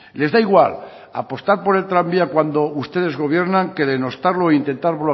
les da igual apostar por el tranvía cuando ustedes gobiernan que denostarlo e intentar